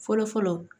Fɔlɔfɔlɔ